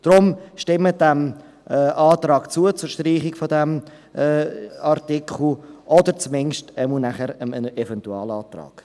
Deshalb: Stimmen Sie diesem Antrag auf Streichung dieses Artikels zu oder zumindest nachher dem Eventualantrag.